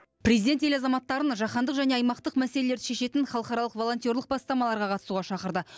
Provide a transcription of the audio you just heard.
президент ел азаматтарын жахандық және аймақтық мәселелерді шешетін халықаралық волонтерлық бастамаларға қатысуға шақырды